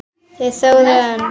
Þeir þögðu enn.